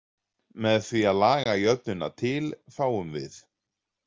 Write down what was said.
Með því að laga jöfnuna til fáum við